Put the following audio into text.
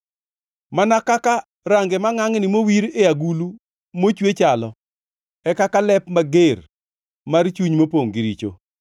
Mana kaka range mangʼangʼni mowir e agulu mochwe chalo e kaka lep mager mar chuny mopongʼ gi richo.